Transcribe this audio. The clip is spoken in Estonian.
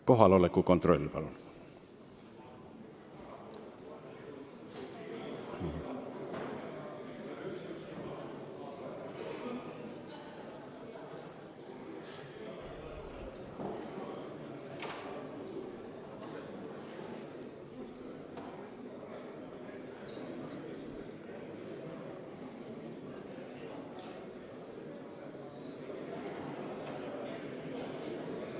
Kohaloleku kontroll, palun!